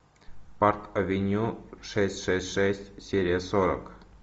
парк авеню шесть шесть шесть серия сорок